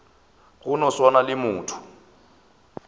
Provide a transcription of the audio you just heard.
go no swana le motho